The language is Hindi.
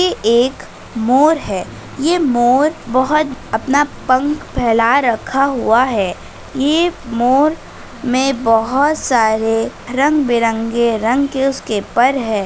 ये एक मोर है ये मोर बहुत अपना पंख फैलाये रखा हुआ है ये मोर में बहुत सारे रंग-बिरंगे रंग के उसके पर है।